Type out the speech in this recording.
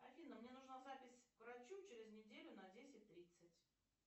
афина мне нужна запись к врачу через неделю на десять тридцать